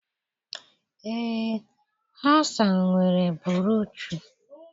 Ee, Hasan nwere bruuchu